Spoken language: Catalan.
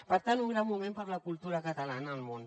per tant un gran moment per a la cultura catalana al món